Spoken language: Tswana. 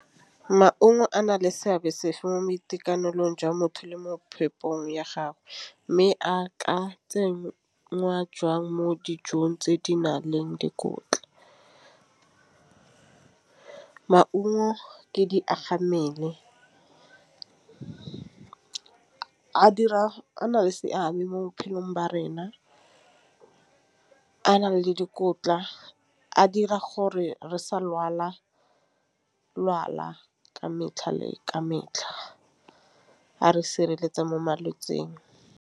Maungo a na le seabe sefe mo boitekanelong jwa motho le mo phepong ya gagwe, mme a ka tse ngwa jwang mo dijong tse di nang le dikotla. Maungo le diaga mmele a dira a na le seabe mo bophelong ba rena a na le dikotla a dira gore re sa ka metlha le ka metlha a re sireletsa mo malwetsing.